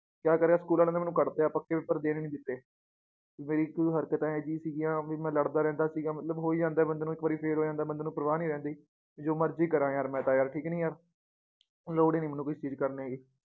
ਕਯਾ ਕਰਿਆ ਸਕੂਲ ਵਾਲਿਆਂ ਨੇ ਮੈਨੂੰ ਕਡ਼ਤਾ ਪੱਕੇ ਪੇਪਰ ਦੇਣ ਈ ਨੀ ਦਿੱਤੇ ਮੇਰੀ ਕੁਜ ਹਰਕਤ ਏਹਾ ਜਿਹੀ ਸਿਗੀਆਂ ਵੀ ਮੈ ਲੜਦਾ ਰਹਿੰਦਾ ਸੀਗਾ ਮਤਲਬ ਹੋ ਈ ਜਾਂਦਾ ਏ ਬੰਦੇ ਨੂੰ ਇੱਕ ਵਾਰੀ ਫੇਰ ਹੋ ਜਾਂਦਾ ਏ ਬੰਦੇ ਨੂੰ ਪਰਵਾਹ ਨੀ ਰਹਿੰਦੀ ਕਿ ਜੋ ਮਰਜੀ ਕਰਾਂ ਯਾਰ ਮੈ ਤਾਂ ਯਾਰ ਠੀਕ ਨੀ ਲੋੜ ਈ ਨੀ ਮੈਨੂੰ ਕੁਛ ਚੀਜ ਕਰਨੇ ਕੀ